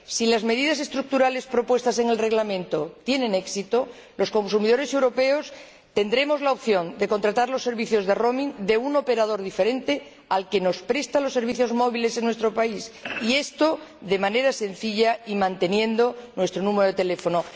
Si las medidas estructurales propuestas en el Reglamento tienen éxito, los consumidores europeos tendremos la opción de contratar los servicios de itinerancia de un operador diferente al que nos presta los servicios móviles en nuestro país, y esto de manera sencilla y manteniendo nuestro número de teléfono.